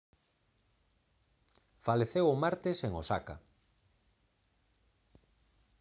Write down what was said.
faleceu o martes en osaka